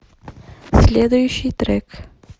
следующий трек